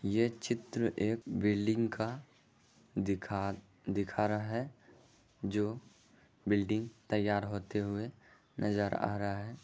ये चित्र एक बिल्डिंग का दिखा दिखा रहा है जो बिल्डिंग तैयार होते हुए नज़र आ रहा है।